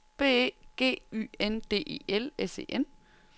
B E G Y N D E L S E N